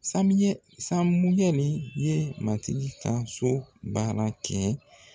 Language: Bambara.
Samuyɛ Samuyɛli ye matigi ka so baara kɛ.